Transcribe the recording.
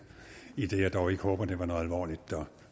idet jeg dog ikke håber det var noget alvorligt der